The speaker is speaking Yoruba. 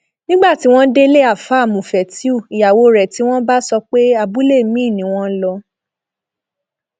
nígbà tí wọn délé àáfàá mufetíù ìyàwó rẹ tí wọn bá sọ pé abúlé miín ni wọn lọ